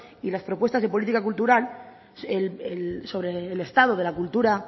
y las propuestas de política cultural sobre el estado de la cultura